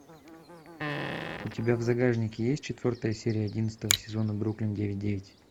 у тебя в загашнике есть четвертая серия одиннадцатого сезона бруклин девять девять